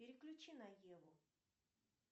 переключи на еву